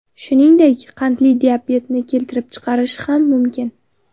Shuningdek, qandli diabetni keltirib chiqarishi ham mumkin.